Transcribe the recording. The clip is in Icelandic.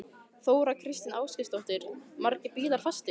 Þóra Kristín Ásgeirsdóttir: Margir bílar fastir?